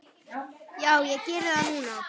Já, ég geri það núna.